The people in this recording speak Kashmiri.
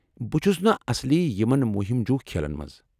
بہٕ چھس نا اصلی یمن مُہِم جوٗ کھیلن منٛز۔